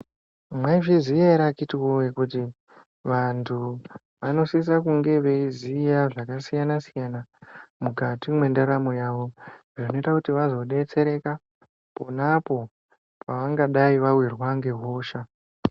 Mwaizviya ere akitiwoye kuti vantu vanosisa kunge veiziya zvakasiyana siyana mukati mwendaramo yavo zvinoita kuti vazodetsereka ponapo pavangadai vawirwa ngehosha.